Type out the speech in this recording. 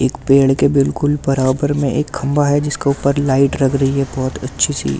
एक पेड़ के बिल्कुल बराबर में एक खंभा है जिसके ऊपर लाइट लग रही है बहुत अच्छी सी एक ।